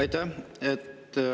Aitäh!